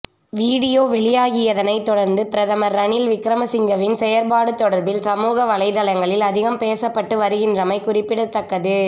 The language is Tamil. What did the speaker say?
வீடியோ வெளியாகியதனை தொடர்ந்து பிரதமர் ரணில் விக்ரமசிங்கவின் செயற்பாடு தொடர்பில் சமூக வலைத்தளங்களில் அதிகம் பேசப்பட்டு வருகிறமை குறிப்பிடத்தக்கது